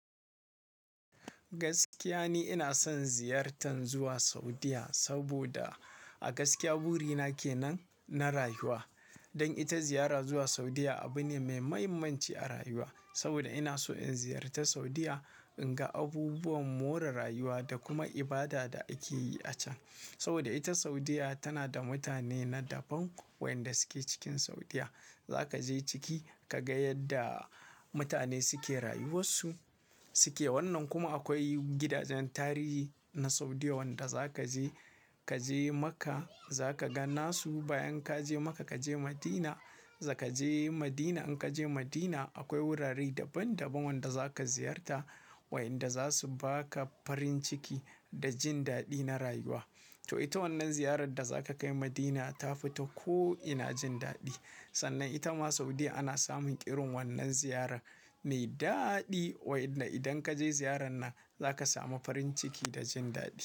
Gaskiya ni ina son ziyartar zuwa Saudiya, saboda a gaskiya buri na ke nan na rayuwa. Don ita ziyara zuwa Saudiya abu ne mai muhimmanci a rayuwa. Saboda ina so in ziyarta Saudiya in ga abubuwan more rayuwa da kuma ibada da ake yi a can. Saboda ita Saudiya tana da mutane na daban, wa'yanda suke cikin Saudiya. Za ka je ciki ka ga yadda mutane suke rayuwar su suke. Wannan kuma akwai gidajen tarihi na Saudiya wanda za ka je, ka je Makkah za ka ga nasu. Bayan ka je Makkah ka je Madina, za ka je Madina. In ka je Madina akwai wurare daban daban wanda za ka ziyarta, wayanda za su ba ka farin ciki da jin daɗi na rayuwa. To ita wannan ziyarar da za ka kai Madina tafi ta ko ina jin daɗi. Sannan ita ma Saudiya ana samun irin wannan ziyarar mai daɗi, wa'yanda idan ka je ziyarar nan za ka samu farin ciki da jin daɗi.